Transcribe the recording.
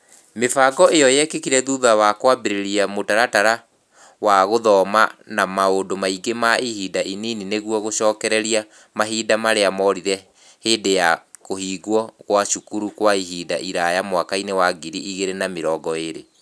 Mĩbango ĩo yekĩkire thutha wa kũambĩrĩria mũtaratara wa gũthoma na maũndu maingĩ na ihinda ĩnini nĩguo gũcokereria mahinda marĩa moorire hĩndĩ ya kũhĩngwo kwa cukuru kwa ihinda iraya mwaka-inĩ wa ngiri igĩrĩ na mĩrongo ĩrĩ.